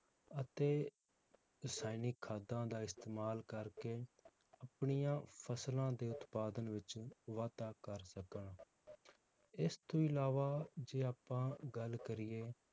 ਅਤੇ ਰਸਾਇਣਿਕ ਖਾਦਾਂ ਦਾ ਇਸਤੇਮਾਲ ਕਰਕੇ ਆਪਣੀਆਂ ਫਸਲਾਂ ਦੇ ਉਤਪਾਦਨ ਵਿਚ ਵਾਧਾ ਕਰ ਸਕਣ ਇਸ ਤੋਂ ਅਲਾਵਾ ਜੇ ਆਪਾਂ ਗੱਲ ਕਰੀਏ